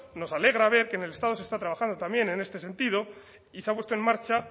nos alegra ver que en el estado se está trabajando también en este sentido y se ha puesto en marcha